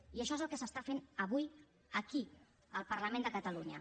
i això és el que s’està fent avui aquí al parlament de catalunya